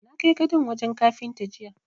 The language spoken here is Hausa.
Na kai gadon wajen Kafinta jiya.